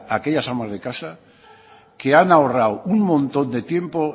a aquellas amas de casa que han ahorrado un montón de tiempo